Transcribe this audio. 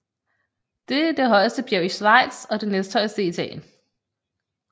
Det er det højeste bjerg i Schweiz og det næsthøjeste i Italien